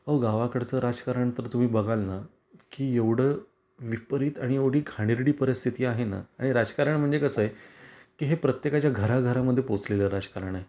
अहो गावाकडच राजकारण तर तुम्ही बघालना की एवढ विपरीत आणि एवढी घाणेरडी परिस्थिती आहेना आणि राजकारण म्हणजे कस आहे की हे प्रत्येकाच्या घरा घरा मध्ये पोहोचलेल राजकारण आहे.